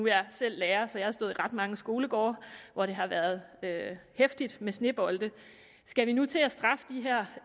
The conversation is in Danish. jeg selv lærer så jeg har stået i ret mange skolegårde hvor det har været heftigt med snebolde skal vi nu til at straffe de her